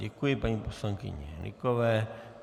Děkuji paní poslankyni Hnykové.